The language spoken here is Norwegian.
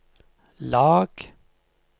lag